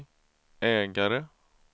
ägare